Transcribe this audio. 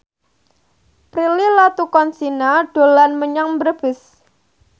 Prilly Latuconsina dolan menyang Brebes